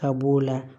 Ka b'o la